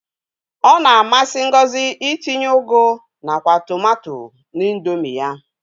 Ọ na-amsị Ngozi itinye ụgụ nakwa tụmato n'Indomi ya.